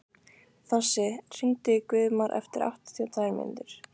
Þossi, hringdu í Guðmar eftir áttatíu og tvær mínútur.